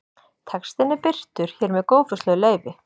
Textinn er birtur hér með góðfúslegu leyfi.